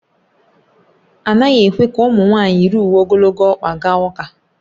Anaghị ekwe ka ụmụ nwaanyị yiri uwe ogologo ọkpa gaa ụka